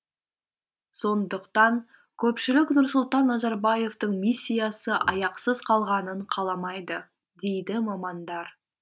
сондықтан көпшілік нұрсұлтан назарбаевтың миссиясы аяқсыз қалғанын қаламайды дейді мамандар